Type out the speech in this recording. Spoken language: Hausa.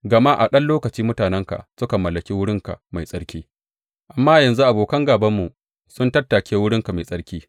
Gama a ɗan lokaci mutanenka suka mallaki wurinka mai tsarki, amma yanzu abokan gābanmu sun tattake wurinka mai tsarki.